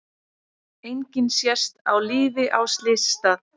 Enginn sést á lífi á slysstað